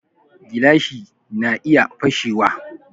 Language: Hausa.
Gilashi na iya fashe wa